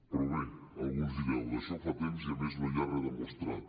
però bé alguns direu d’això fa temps i a més no hi ha res demostrat